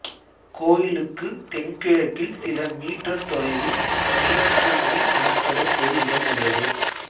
கோயிலுக்கு தென்கிழக்கில் சில மீட்டர் தொலைவில் மீன்குண்டி எனப்படும் ஒரு இடம் உள்ளது